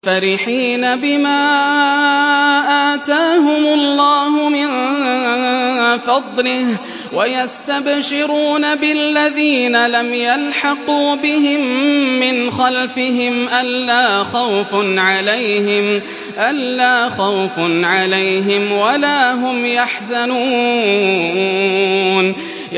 فَرِحِينَ بِمَا آتَاهُمُ اللَّهُ مِن فَضْلِهِ وَيَسْتَبْشِرُونَ بِالَّذِينَ لَمْ يَلْحَقُوا بِهِم مِّنْ خَلْفِهِمْ أَلَّا خَوْفٌ عَلَيْهِمْ وَلَا هُمْ يَحْزَنُونَ